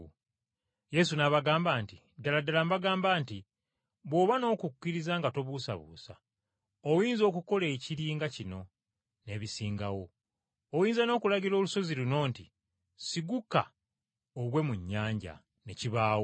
Yesu n’abaddamu nti, “Ddala ddala mbagamba nti bw’oba n’okukkiriza nga tobuusabuusa, oyinza okukola ekiri nga kino n’ebisingawo. Oyinza n’okulagira olusozi luno nti, ‘Siguka ogwe mu nnyanja,’ ne kibaawo.